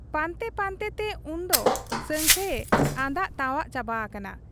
ᱯᱟᱱᱛᱮ ᱯᱟᱱᱛᱮᱛᱮ ᱩᱱᱫᱚ ᱥᱟᱹᱝᱠᱷᱟᱹᱭᱮ ᱟᱸᱫᱟᱜ ᱛᱟᱣᱟᱜ ᱪᱟᱵᱟ ᱟᱠᱟᱱᱟ ᱾